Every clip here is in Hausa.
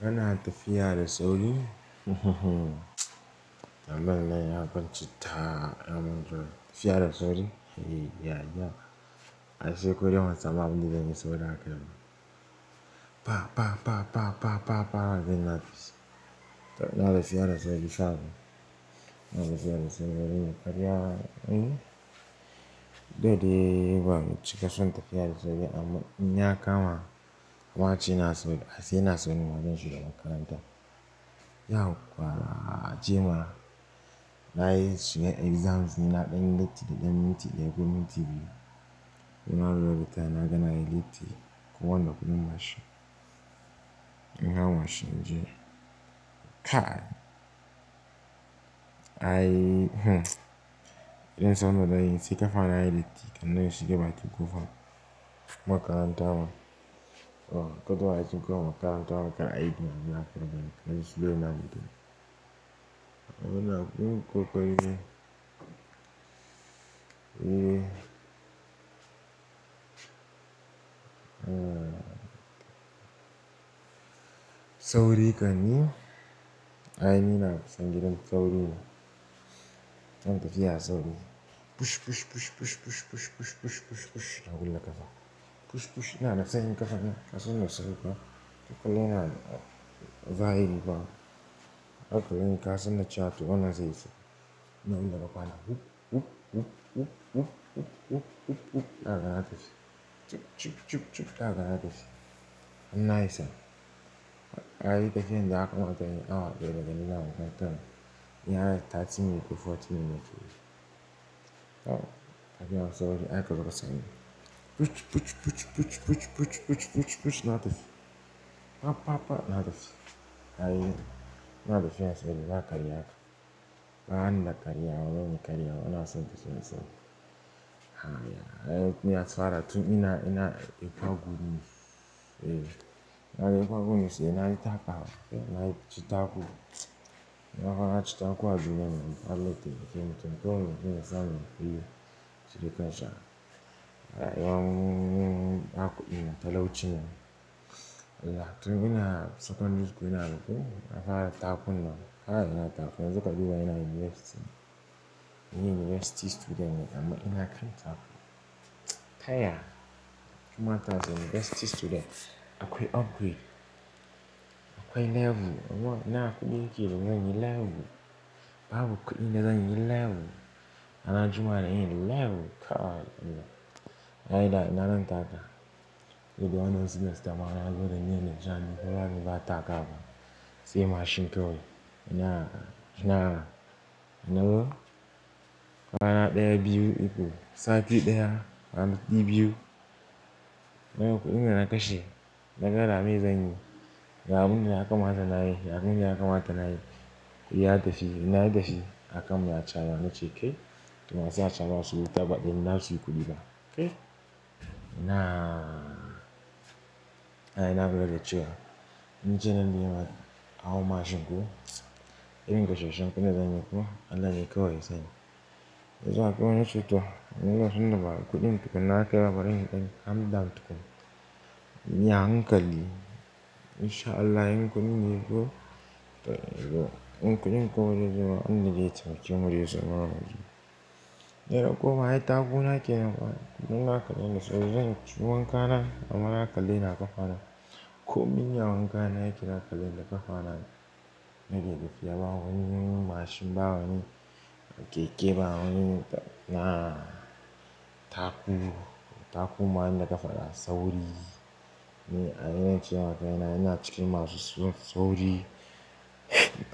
Kana tafiya da sauri? Ambanin ya kwance da amondro. Tafuya da sauri? E, ya, ya. A ce ko dai wancan sabon daren ya sauya hakora biyar. Pa, pa, pa, pa, pa, pa, pa, har dai na tafi. To na tafi ya razoli sabo. Ina tafiya da sauri wurin. Ya karya, eh? Duk da dai ban cika son tafiya da sauri amma in ya kama wa ci naso, a sai ina so ni majun shiga makaranta. Yah, kwa jima nayi suye exams nina ɗayan lati da ɗayan minti, ya goyi minti biyu. Ina rura fitar na gana yi liti kuwa na gudu mashin. In ga mashin jiya. Kai, ai idan zan zo na yi, sai ka fara yi liti kuma dai shiga baki kufa makaranta hawa. O, goduwa yaci ku hakan makaranta hawa kai aiki nan da nan fada. Najin shigo ina jin. Amina, mun kokole. Eh. Ah. Sauri ka ni. Ai ni na kasani don sawrina. An tafi ya sauri. Push, push, push, push, push, push, push, push, push, push, har gunda kafan. Push, push, na na kasani kafan nan ka san da sauri kuwa. Kullum ina, vibe na. Hakuri ne ka san da chatu, wana zai yi sa. Namana bakwana whoop, whoop, whoop, whoop, whoop, whoop, whoop, whoop, whoop, whoop, whoop, har gana tashi. Chip, chip, chip, chip, har gana tashi. Annayi sana. Ai tafiyan da aka mata yin awa biyar da daddare nan haka tan. Yin har sati mai uku, forti minute shuru. Oh, hakina sauri ai karogo sani. Push, push, push, push, push, push, push, push, push, na tafi. Pa, pa, pa, na tafi. Ai, na tafi yana so ya razoli maka riyaka. Ba an na karya wa, ba mun karya wa. Wana son ka so ya sa. Ha ya, ai kun iya tsara tun ina, ina, ina kwagumi. Eh, ana yi kwagumi sai ana yi taka. Ana yi chita taku. Ana kwana chita aku a duniya mana ita halitta yake mutum. Ko wane shine sama, shi da ƙansa. Ai yawun, akwai, matala wuce yan. Yaya, tun ina secondary school ina ruku, na fara takuna. Haka dai na taku, har zuƙa biyu ina university. Ina university student ne amma ina karanta aku. Taya! Kamata zan yi university student. Akwai upgrade. Akwai level. Awon ina aku birikili, wai nyi level. Babu kudi na zan yi level. Ana juma da yi level. Ka! Ana ta fiya resori. Gobe wannan students dama suna zo da niyyan da jan ni. Kowa min ba taka ba. Sai mashin kawai. Ina, ina, ina zo? Kana ɗaya biyu uku. Sati ɗaya, sati biyu. Mai hukunci ina na kashe. Na ga ra mai zanyi. Ya abun da ya kamata nayi. Ya abun da ya kamata nayi. Yi ya tafi. Ina ya tafi. Akan mu ya chawa na ce, "Kai!" Kuma sai na chawa wasu guta baɗi. Ina su yi kuɗi ba. Kai! Ina. Ai ina buga lecture. Ni ce nan da yawa. Awo mashin ko. Irin gajershen kunne za ni yi ko? Allah yai kawai sani. Yanzu haka mun wuce tuwo. Munzo sunna ba kuɗin tukuna aka yi babba ɗan hamda tukum. Miya hankali. Inshallah yankun miko. Yankun ikonai zuwa hannun littafin kimiyyar zaman rajin. Ina koma ai takuna ake nan fa. Kuɗin naka len da saurayin ki. Ciwon kana, ama naka leni aka fara. Komai ne awanka nayi kira kala, naka fara. Nake dafiya bawani mashin bawa ni keke bawani. Na taku. Taku ma ni naka fara sauri. Ni ai ina cikin mashin sauri.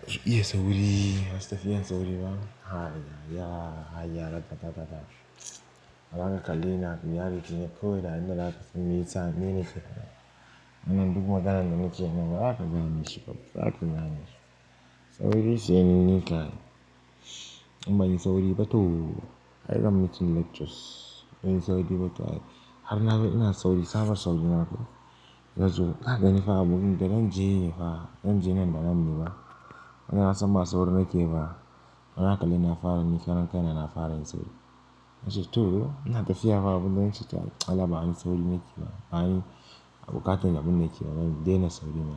Zu iya sauri. Wasu tafi iya sauri ba. Ha ya, ya, ha ya rata tata tata. Abaka kalena abu. Ya rike ne kawai har mun rasa mintsa. Mene ke fa? Mana duk mun tada nan da mints yana. Raka gane shi babu. Raka gane shi. Sauri shi yanini ka. In ban yi sauri ba, to. Ai gama mints lectures. Yin sauri batawu ai. Har na bai ina sauri. Saban sauri ma kam. Yanzu kagani fa abu. Muke don ji ne fa. Don ji yana da nammi ba. Wannan asan ba sawri na ke ba. Maka leni fara ni karen kai na fara yin sawri. Mace to, ina tafi ya fa abu don ci ta. Ala ba ani sawri na ke ba. Ba ani abu katun abun na ke ba. Dai na sawri na.